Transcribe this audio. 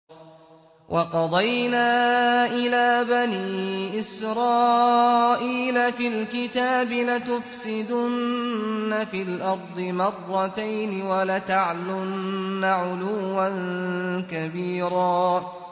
وَقَضَيْنَا إِلَىٰ بَنِي إِسْرَائِيلَ فِي الْكِتَابِ لَتُفْسِدُنَّ فِي الْأَرْضِ مَرَّتَيْنِ وَلَتَعْلُنَّ عُلُوًّا كَبِيرًا